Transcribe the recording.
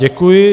Děkuji.